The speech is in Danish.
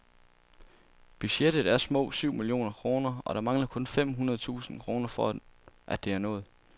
Budgettet er små syv millioner kroner, og der mangler kun fem hundrede tusind kroner for at det er nået.